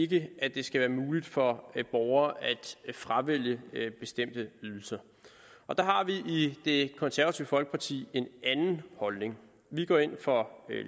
det skal være muligt for borgerne at fravælge bestemte ydelser der har vi i det konservative folkeparti en anden holdning vi går ind for